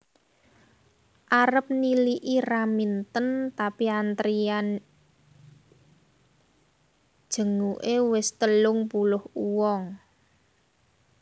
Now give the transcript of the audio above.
Arep niliki Raminten tapi antrian jenguke wis telung puluh wong